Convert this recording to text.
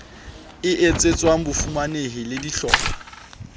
e etsetswang bafumanehi le dihlopha